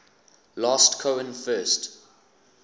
last cohen first